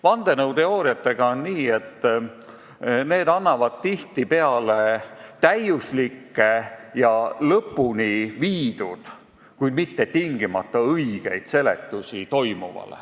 Vandenõuteooriatega on nii, et need annavad toimuvale tihtipeale täiuslikke ja lõpule viidud, kuid mitte tingimata õigeid seletusi.